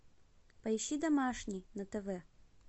поищи домашний на тв